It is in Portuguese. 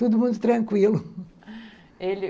Todo mundo tranquilo. Ele